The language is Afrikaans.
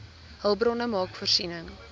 hulpbronne maak voorsiening